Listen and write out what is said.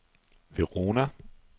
Verona